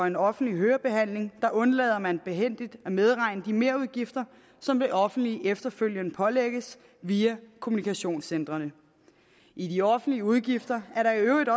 en offentlig hørebehandling undlader man behændigt at medregne de merudgifter som det offentlige efterfølgende pålægges via kommunikationscentrene i de offentlige udgifter er der i øvrigt